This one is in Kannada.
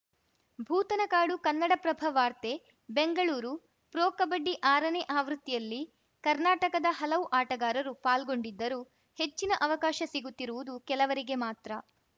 ಭೂತನಕಾಡು ಕನ್ನಡಪ್ರಭ ವಾರ್ತೆ ಬೆಂಗಳೂರು ಪ್ರೊ ಕಬಡ್ಡಿ ಆರನೇ ಆವೃತ್ತಿಯಲ್ಲಿ ಕರ್ನಾಟಕದ ಹಲವು ಆಟಗಾರರು ಪಾಲ್ಗೊಂಡಿದ್ದರೂ ಹೆಚ್ಚಿನ ಅವಕಾಶ ಸಿಗುತ್ತಿರುವುದು ಕೆಲವರಿಗೆ ಮಾತ್ರ